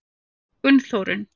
Gunnþórunn